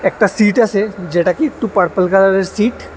একটা সিট আছে যেটা কি একটু পারপেল কালারের সিট ।